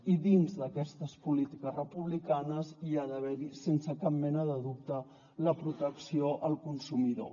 i dins d’aquestes polítiques republicanes hi ha d’haver sense cap mena de dubte la protecció al consumidor